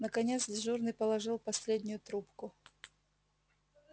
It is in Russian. наконец дежурный положил последнюю трубку